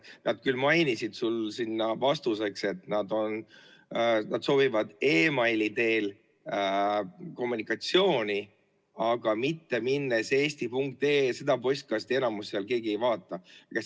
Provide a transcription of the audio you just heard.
Nad küll mainisid vastuseks, et nad soovivad e-mail'i teel kommunikatsiooni, aga mitte minnes eesti.ee‑sse, seda postkasti seal keegi ei vaata.